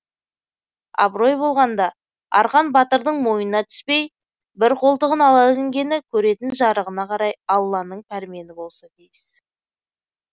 абырой болғанда арқан батырдың мойнына түспей бір қолтығын ала ілінгені көретін жарығына қарай алланың пәрмені болса тиіс